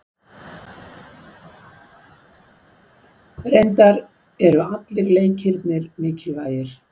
Reyndar eru allir leikirnir mikilvægir